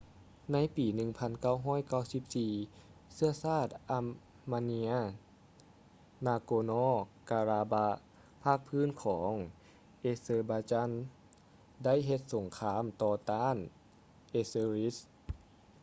ໃນປີ 1994 ເຊື້ອຊາດ armenian nagorno-karabakh ພາກພື້ນຂອງ azerbaijan ໄດ້ເຮັດສົງຄາມຕໍ່ຕ້ານ azeris